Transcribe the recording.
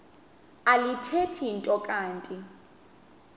alithethi nto kanti